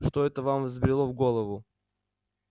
что это вам взбрело в голову